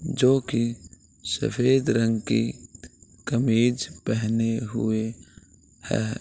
जो की सफ़ेद रंग की कमीज पहने हुए है ।